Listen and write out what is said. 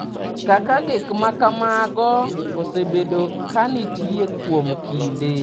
‘kaka gik ma kamago osebedo ka nitie kuom kinde.